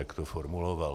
Tak to formuloval.